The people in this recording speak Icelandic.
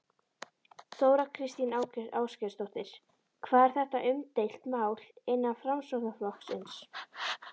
Þóra Kristín Ásgeirsdóttir: Hvað er þetta umdeilt mál innan Framsóknarflokksins?